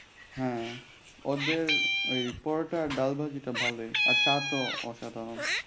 হ্যাঁ ওদের ঐ পরোটা আর ডাল বাজিটা ভালোই আর চা তো অসাধারণ।